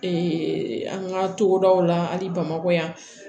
an ka togodaw la ani bamakɔ yan